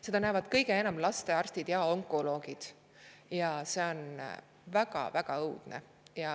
Seda näevad kõige enam lastearstid ja onkoloogid, ja see on väga-väga õudne.